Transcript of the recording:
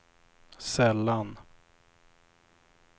sällan